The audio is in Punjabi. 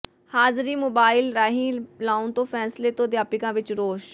ਹਾਜ਼ਰੀ ਮੋਬਾਈਲ ਰਾਹੀਂ ਲਾਉਣ ਦੇ ਫ਼ੈਸਲੇ ਤੋਂ ਅਧਿਆਪਕਾਂ ਵਿੱਚ ਰੋਸ